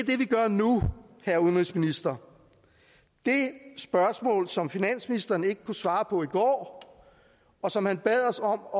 det vi gør nu herre udenrigsminister det spørgsmål som finansministeren ikke kunne svare på i går og som han bad os om at